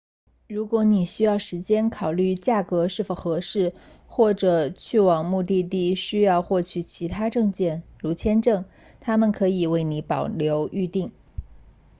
如果你需要时间考虑价格是否合适或者去往目的地需要获取其他证件如签证他们可以为你保留预订